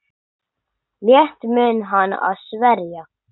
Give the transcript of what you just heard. Létt mun hann að sverja.